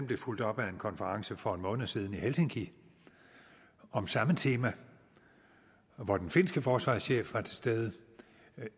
blev fulgt op af en konference for en måned siden i helsinki om samme tema hvor den finske forsvarschef var til stede